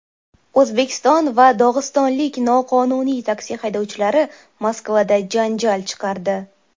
O‘zbekiston va dog‘istonlik noqonuniy taksi haydovchilari Moskvada janjal chiqardi.